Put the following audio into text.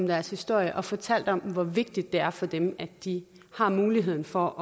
deres historie og fortalt om hvor vigtigt det er for dem at de har muligheden for